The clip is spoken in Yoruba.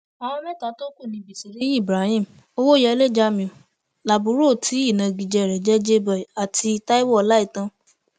àwọn mẹta tó kù ní bisiriyi ibrahim owóyẹlé jamiu laburo tí ìnagijẹ rẹ ń jẹ jay boy àti taiwo ọláìtàn